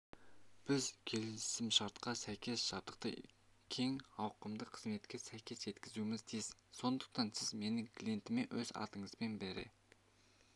біз келісімшартқа сәйкес жабдықты кең ауқымды қызметке сәйкес жеткізуіміз тиіс сондықтан сіз менің клиентіме өз атыңызбен бере